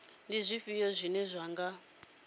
ndi zwifhio zwine zwa nga